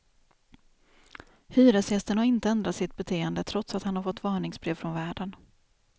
Hyresgästen har inte ändrat sitt beteende trots att han har fått varningsbrev från värden.